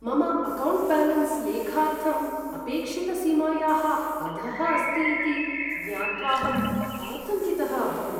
मम account balance लेखार्थं अपेक्षितसीमायाः अधः अस्ति इति ज्ञात्वाहम् आतङ्कितः अभवम्।